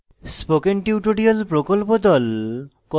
spoken tutorial প্রকল্প the